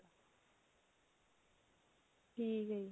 ਠੀਕ ਹੈ ਜੀ